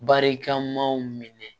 Barikamaw minɛ